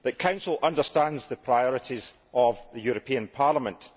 The Council understands the priorities of the European Parliament.